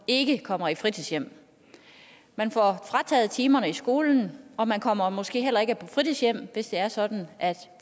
ikke kommer i fritidshjem man får frataget timerne i skolen og man kommer måske heller ikke på fritidshjem hvis det er sådan at